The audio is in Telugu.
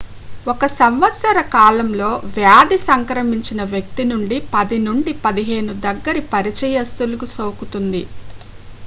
ఒక సంవత్సర కాలంలో వ్యాధి సంక్రమించిన వ్యక్తి నుండి 10 నుండి 15 దగ్గరి పరిచయిస్తులకు సోకుతుంది